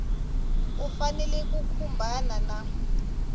u fanele ku khumbana na